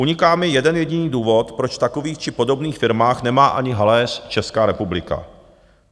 Uniká mi jeden jediný důvod, proč v takových či podobných firmách nemá ani haléř Česká republika.